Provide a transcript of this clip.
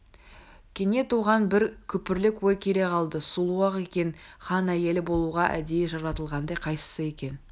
кенет оған бір күпірлік ой келе қалды сұлу-ақ екен хан әйелі болуға әдейі жаратылғандай қайсысы екен